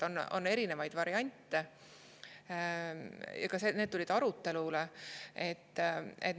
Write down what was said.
Aga on erinevaid variante ja ka need tulid arutelule.